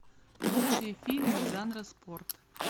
лучшие фильмы жанра спорт